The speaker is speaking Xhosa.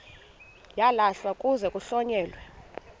uyalahlwa kuze kuhlonyelwe